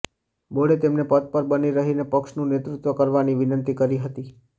બોર્ડે તેમને પદ પર બની રહીને પક્ષનું નેતૃત્વ કરવાની વિનંતી કરી હતી